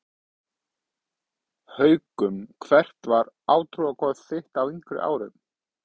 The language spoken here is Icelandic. Haukum Hvert var átrúnaðargoð þitt á yngri árum?